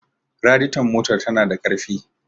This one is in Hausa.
raditon motar tana da ƙarfi